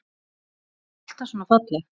Var hún alltaf svona falleg?